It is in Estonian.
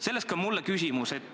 Sellest ka minu küsimus.